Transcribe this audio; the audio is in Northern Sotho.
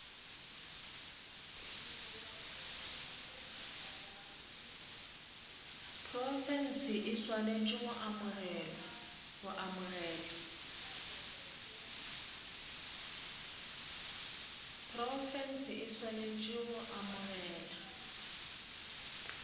profense e swanetše go amogela